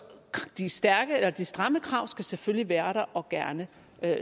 de stramme krav skal selvfølgelig være der og gerne